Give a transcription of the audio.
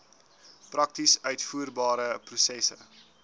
prakties uitvoerbare prosesse